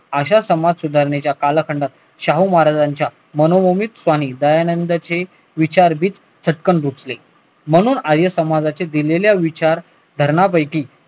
अश्या समाज सुधारणेच्या कालखंडात शाहू महाराजांच्या दयानंद चे विचार म्हणून आर्य समाजाचे दिलेले विचार कारणांपैकी